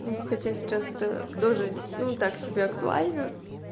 ну хотя сейчас это тоже ну так себе актуально